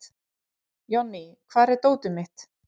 Jonný, hvar er dótið mitt?